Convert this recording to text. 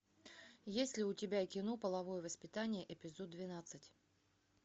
есть ли у тебя кино половое воспитание эпизод двенадцать